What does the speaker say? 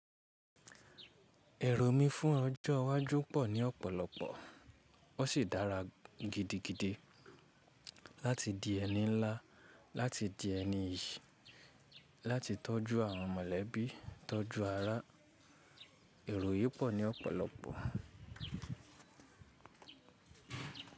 Ẹ̀rù mi fún ọjọ́ iwájú pọ̀ ní ọ̀pọ̀lọpọ̀, ó sì dára gidigidi láti di ẹni ńlá, láti di ẹni iyì, láti tọ́jú àwọn mọ̀lẹ́bí, tọ́jú ará. Ẹ̀rù yìí pọ̀ ní ọ̀pọ̀lọpọ̀.